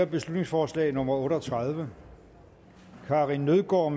beslutningsforslag nummer otte og tredive karin nødgaard